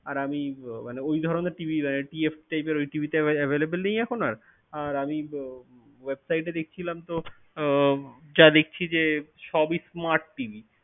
আর আমি মানে ওই ধরণের TVTFT type এর ওই TV তো available নেই এখন আর আর আমি উহ website দেখছিলাম তো যা দেখছি যে সবই smart TV